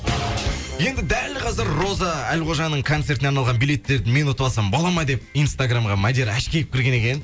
енді дәл қазір роза әлқожаның концертіне арналған билеттерді мен ұтып алсам болама деп инстаграмға мадияр ашкеев кірген екен